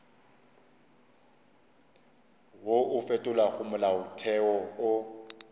wo o fetolago molaotheo o